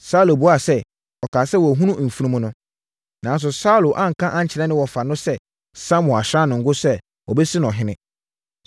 Saulo buaa sɛ, “Ɔkaa sɛ, wɔahunu mfunumu no.” Nanso, Saulo anka ankyerɛ ne wɔfa no sɛ Samuel asra no ngo sɛ wɔbɛsi no ɔhene.